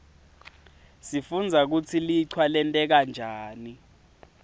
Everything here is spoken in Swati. sifundza kutsi lichwa lenteka njani